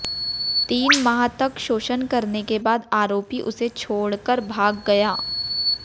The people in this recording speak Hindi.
तीन माह तक शोषण करने के बाद आरोपी उसे छोडक़र भाग गया